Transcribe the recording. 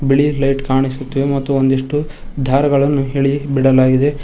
ಬಿಳಿ ಲೈಟ್ ಕಾಣಿಸುತ್ತಿದೆ ಮತ್ತು ಒಂದಿಷ್ಟು ದಾರಗಳನ್ನು ಎಳಿ ಬಿಡಲಾಗಿದೆ.